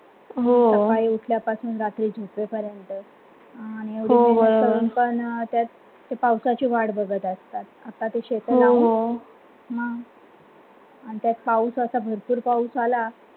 हो सकाडी उठल्यापासून रात्री झोपेपर्यंत पण त्यात पावसाची वाट बघत असतात आता ते शेतात राहून नंतर पाऊस आता भरपूर पाऊस आला.